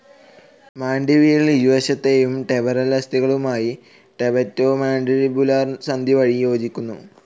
മാൻഡിബിൽ ഇരുവശത്തേയും ടെമ്പറൽ അസ്ഥികളുമായും temporomandibular സന്ധി വഴി യോജിക്കുന്നു.